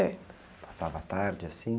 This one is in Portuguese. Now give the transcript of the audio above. É.assava a tarde, assim?